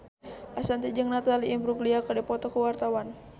Ashanti jeung Natalie Imbruglia keur dipoto ku wartawan